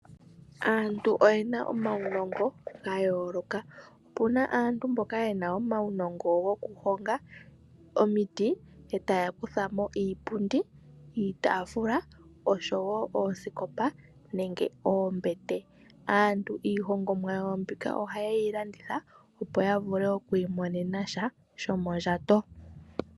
Aantu oye na omaunongo ga yooloka. Opu na aantu mboka ye na omaunongo gokuhonga omiti e taya kutha mo iipundi, iitaafula osho wo oosikopa nenge oombete. Aantu iihongomwa yawo mbika ohaye yi landitha, opo ya vule oku imonena sha shomondjato.